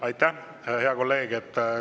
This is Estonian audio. Aitäh, hea kolleeg!